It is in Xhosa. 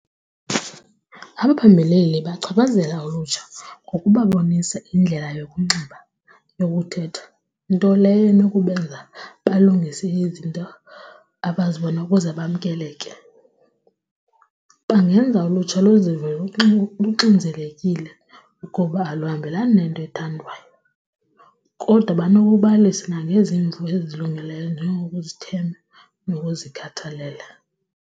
Abaphembeleli bachaphazeleka ulutsha ngokubabonisa indlela yokunxiba, yokuthetha, nto leyo inokubenza balungise izinto abazibona ukuze bamkeleke. Bangenza ulutsha luzive luxinzelekile ukuba aluhambelani nento ethandwayo kodwa banokubalisa nangezimvo ezilungileyo njengokuzithemba nokuzikhathalela.